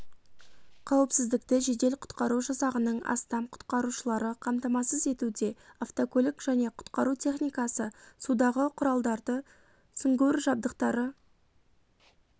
қауіпсіздікті жедел-құтқару жасағының астам құтқарушылары қамтамасыз етуде автокөлік және құтқару техникасы судағы құралдары сүңгуір жабдықтары